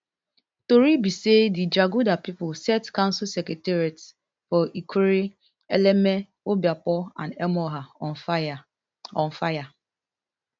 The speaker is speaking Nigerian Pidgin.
tori be say di jaguda pipo set council secretariats for ikwerre eleme obioakpor and emohua on fire on fire